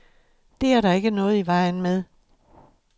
Det er der ikke noget i vejen med.